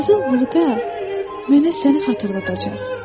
Qızıl buğda mənə səni xatırladacaq.